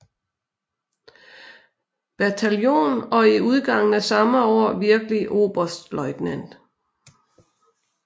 Bataljon og i udgangen af samme år virkelig oberstløjtnant